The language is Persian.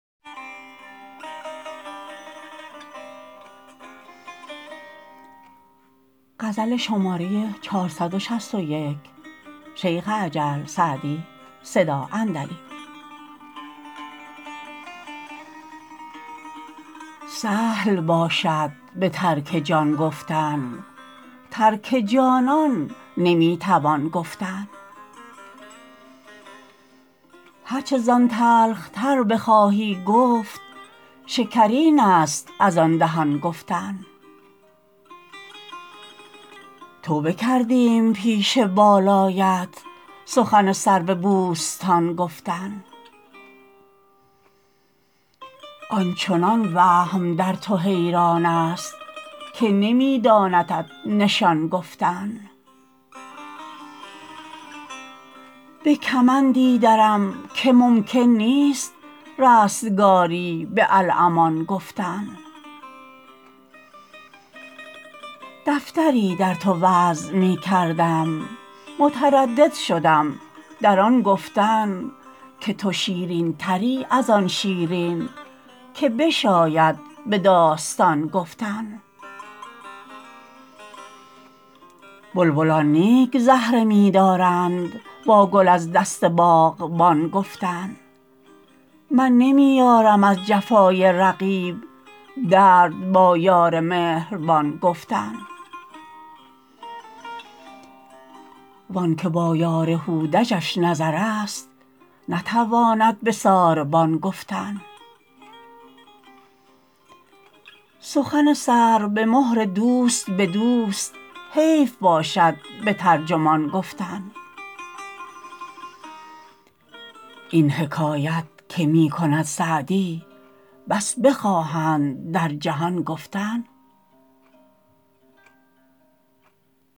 سهل باشد به ترک جان گفتن ترک جانان نمی توان گفتن هر چه زان تلخ تر بخواهی گفت شکرین است از آن دهان گفتن توبه کردیم پیش بالایت سخن سرو بوستان گفتن آن چنان وهم در تو حیران است که نمی داندت نشان گفتن به کمندی درم که ممکن نیست رستگاری به الامان گفتن دفتری در تو وضع می کردم متردد شدم در آن گفتن که تو شیرین تری از آن شیرین که بشاید به داستان گفتن بلبلان نیک زهره می دارند با گل از دست باغبان گفتن من نمی یارم از جفای رقیب درد با یار مهربان گفتن وان که با یار هودجش نظر است نتواند به ساربان گفتن سخن سر به مهر دوست به دوست حیف باشد به ترجمان گفتن این حکایت که می کند سعدی بس بخواهند در جهان گفتن